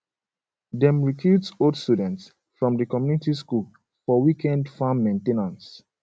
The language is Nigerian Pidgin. dem recruit old students from di community school for weekend farm main ten ance